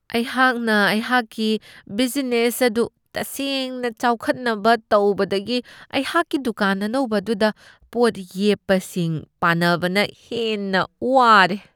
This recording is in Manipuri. ꯑꯩꯍꯥꯛꯅ ꯑꯩꯍꯥꯛꯀꯤ ꯕꯤꯖꯅꯦꯁ ꯑꯗꯨ ꯇꯁꯦꯡꯅ ꯆꯥꯎꯈꯠꯅꯕ ꯇꯧꯕꯗꯒꯤ ꯑꯩꯍꯥꯛꯀꯤ ꯗꯨꯀꯥꯟ ꯑꯅꯧꯕ ꯑꯗꯨꯗ ꯄꯣꯠ ꯌꯦꯞꯄꯁꯤꯡ ꯄꯥꯟꯅꯕꯅ ꯍꯦꯟꯅ ꯋꯥꯔꯦ ꯫